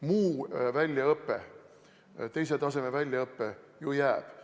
Muu väljaõpe, teise taseme väljaõpe jääb.